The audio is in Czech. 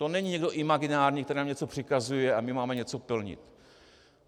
To není někdo imaginární, který nám něco přikazuje, a my máme něco plnit.